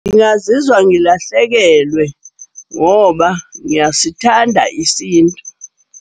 Ngingazizwa ngilahlekelwe ngoba ngiyasithanda isintu.